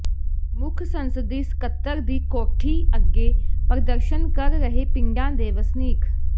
ਮੁੱਖ ਸੰਸਦੀ ਸਕੱਤਰ ਦੀ ਕੋਠੀ ਅੱਗੇ ਪ੍ਰਦਰਸ਼ਨ ਕਰ ਰਹੇ ਪਿੰਡਾਂ ਦੇ ਵਸਨੀਕ